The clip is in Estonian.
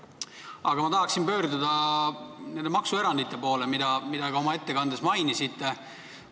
Aga ma tahan pöörduda maksuerandite poole, mida te ka oma ettekandes mainisite.